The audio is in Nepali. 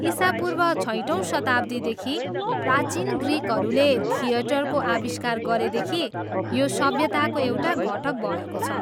ईसापूर्व छैटौँ शताब्दीदेखि, प्राचीन ग्रिकहरूले थिएटरको आविष्कार गरेदेखि, यो सभ्यताको एउटा घटक भएको छ।